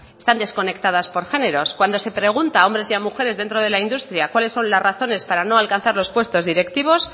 están desconectadas por géneros cuando se pregunta a hombres y a mujeres dentro de la industria cuáles son las razones para no alcanzar los puestos directivos